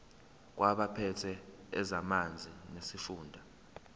kwabaphethe ezamanzi nesifunda